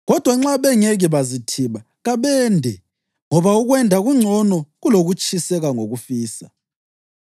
Kodwa nxa bengeke bazithiba, kabende, ngoba ukwenda kungcono kulokutshiseka ngokufisa.